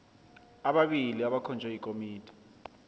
ababili abakhonjwe yikomiti